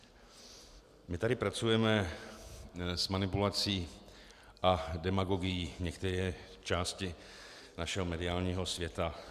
My tady pracujeme s manipulací a demagogií některé části našeho mediálního světa.